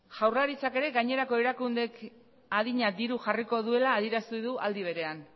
jaurlaritzak ere gainerako erakundeek adina diru jarriko duela adierazi du aldi berean